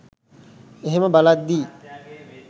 ඒහෙම බලද්දි